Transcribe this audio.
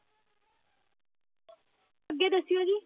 ਅੱਗੇ ਦੱਸਿਓ ਜੀ,